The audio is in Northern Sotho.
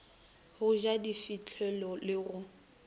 go ja difihlolo le go